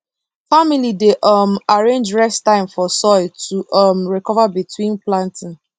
family dey um arrange rest time for soil to um recover between planting